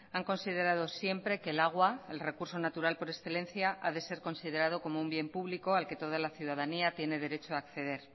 han considerado siempre que el agua el recurso natural por excelencia ha de ser considerado como un bien público al que toda la ciudadanía tiene derecho a acceder